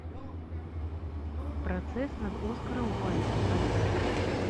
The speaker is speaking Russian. процесс над оскаром уайльдом поставь